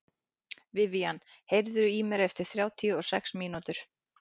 Vivian, heyrðu í mér eftir þrjátíu og sex mínútur.